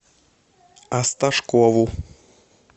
осташкову